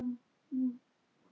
Þú mátt ekki gera þetta.